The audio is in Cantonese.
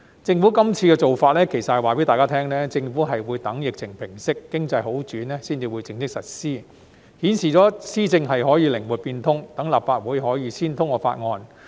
政府這次做法其實是想告訴大家，政府會等疫情平息、經濟好轉後，才會正式實施，顯示了施政可以靈活變通，讓立法會可以先通過法案。